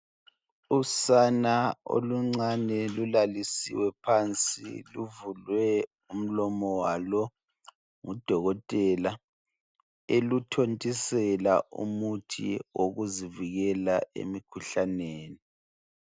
Usana oluncane lulalisiwe phansi luvulwe umlomo walo ngudokotela eluthontisela umuthi wokuzivikela emkhuhlaneni.